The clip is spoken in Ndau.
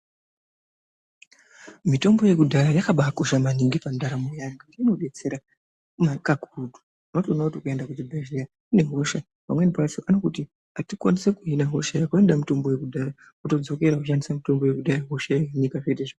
Mitombo yekudhaya yakabakosha maningi pandaramo yedu ngekuti inobatidetsera kakurutu ngekuti pamweni pacho ukaenda kuchibhedhlera une hosha vanokuti atikwanisi kuhina hosha Yako inoda mitombo yekudhaya wotodzokera woshandisa mitombo yekudhaya hosha yohinika.